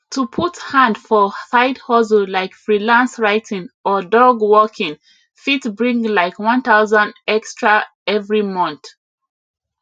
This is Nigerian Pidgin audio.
to put hand for side hustle like freelance writing or dog walking fit bring like 1000 extra every month